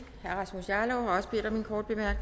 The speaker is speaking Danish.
på